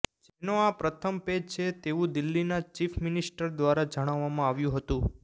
જેનો આ પ્રથમ પેજ છે તેવું દિલ્હીના ચીફ મિનિસ્ટર દ્વારા જણાવવામાં આવ્યું હતું